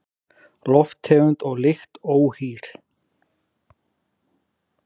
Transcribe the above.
Lofttegund og lykt óhýr